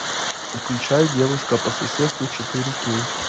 включай девушка по соседству четыре кей